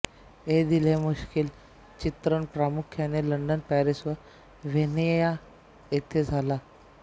ऐ दिल है मुश्किलचे चित्रण प्रामुख्याने लंडन पॅरिस व व्हियेना येथे झाले